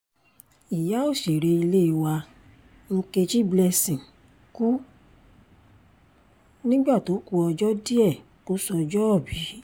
ìyá òṣèré ilé wa nkechi blessing kú nígbà tó ku ọjọ́ díẹ̀ kó sọ́jọ́òbí